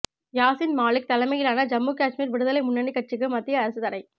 யாசின் மாலிக் தலைமையிலான ஜம்மு காஷ்மீர் விடுதலை முன்னணி கட்சிக்கு மத்திய அரசு தடை